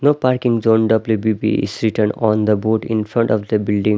No parking zone W_B_P is written on the board in front of the building.